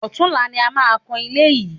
Ọ̀tunla ni a máa kan ilé yìí